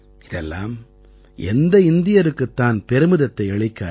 இதெல்லாம் எந்த இந்தியருக்குத் தான் பெருமிதத்தை அளிக்காது